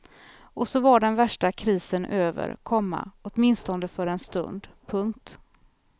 Och så var den värsta krisen över, komma åtminstone för en stund. punkt